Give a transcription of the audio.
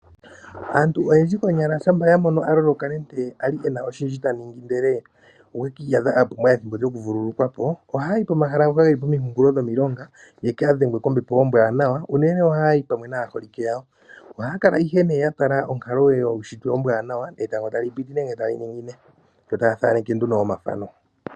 Aantu oyendji konyala shampa yamono aloloka nenke ali ena oshindji taningi ndele okwe kiiyadha apumbwa ethimbo lyoku vululukwa po oha yayi komahala ngoka geli komikunkulo dhomilonga yaka dhengwe kombepo ombwaanawa , unene oha yayi pamwe naaholike yawo. Oha ya kala ihe ne ya tala onkalo yuushitwe ombwanawa , etango tali piti nenge tali ningine yo taya thaneke nduno omathano.